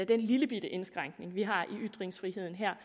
den lillebitte indskrænkning vi har i ytringsfriheden her